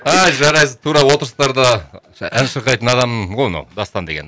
ай жарайсың тура отырыстарда ән шырқайтын адам ғой мынау дастан деген